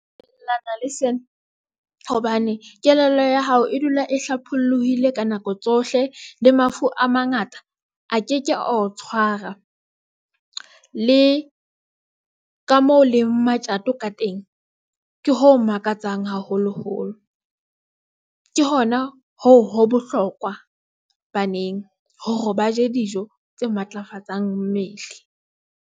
Ke dumellana le sena hobane kelello ya hao e dula e hlapholoile ka nako tsohle. Le mafu a mangata a ke ke a o tshwara le ka moo leng matjato ka teng ke ho makatsang haholoholo ke hona hoo ho bohlokwa baneng hore ba je dijo tse matlafatsang mmele..